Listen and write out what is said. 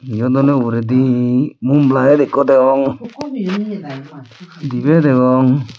eyod oley uguredi mum layet ekko degong dibey degong.